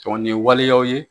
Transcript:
Tɔn ɲe waleyaw ye